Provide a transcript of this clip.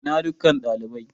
Ina dukkan dalibai?